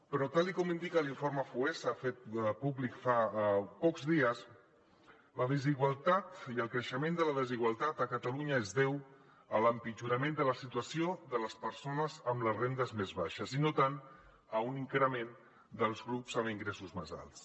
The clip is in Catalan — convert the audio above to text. però tal com indica l’informe foessa fet públic fa pocs dies la desigualtat i el creixement de la desigualtat a catalunya es deu a l’empitjorament de la situació de les persones amb les rendes més baixes i no tant a un increment dels grups amb ingressos més alts